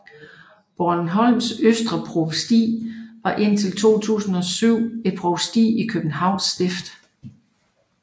Bornholms Østre Provsti var indtil 2007 et provsti i Københavns Stift